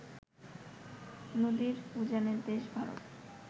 নদীর উজানের দেশ ভারত